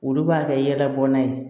Olu b'a kɛ yɛlɛ bɔn nan ye.